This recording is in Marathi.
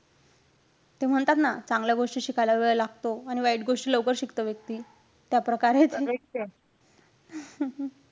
ते म्हणतात ना चांगल्या गोष्टी शिकायला वेळ लागतो, आणि वाईट गोष्टी लवकर शिकतं व्यक्ती. त्याप्रकारेच,